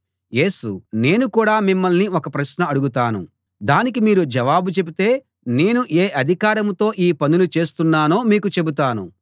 యేసు నేను కూడా మిమ్మల్ని ఒక ప్రశ్న అడుగుతాను దానికి మీరు జవాబు చెబితే నేను ఏ అధికారంతో ఈ పనులు చేస్తున్నానో మీకు చెబుతాను